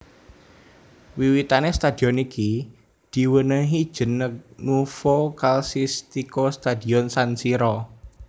Wiwitane stadion iki diwenehi jeneg Nuovo Calcistico Stadion San Siro